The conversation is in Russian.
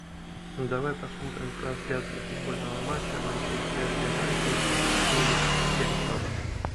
давай посмотрим трансляцию футбольного матча манчестер юнайтед саутгемптон